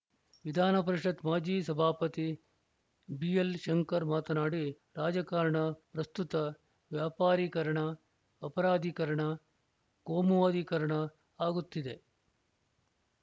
ವಿಧಾನಪರಿಷತ್‌ ಮಾಜಿ ಸಭಾಪತಿ ಬಿಎಲ್‌ ಶಂಕರ್‌ ಮಾತನಾಡಿ ರಾಜಕಾರಣ ಪ್ರಸ್ತುತ ವ್ಯಾಪಾರೀಕರಣ ಅಪರಾಧೀಕರಣ ಕೋಮುವಾದೀಕರಣ ಆಗುತ್ತಿದೆ